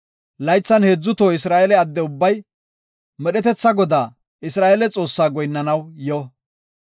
Laythan heedzu toho Isra7eele adde ubbay medhetetha Godaa, Isra7eele Xoossaa goyinnanaw yo.